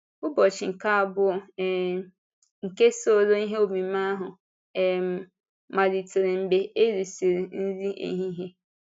Ụbọchị nke abụọ um nke usoro ihe omume ahụ um malitere mgbe e rísịrị nri ehihie.